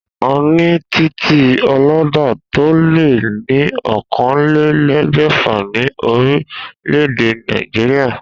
A ní titì olódà tó lé ní oókanlelégbèfà ní orílè-èdè Nàìjíríà